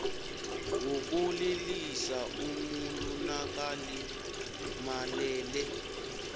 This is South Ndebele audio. wokulilisa umuntu nakalimalele